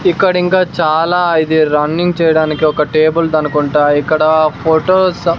ఇక్కడ ఇంకా చాలా ఇది రన్నింగ్ చేయడానికి ఒక టేబుల్ దనుకుంటా ఇక్కడ ఫొటోస్ .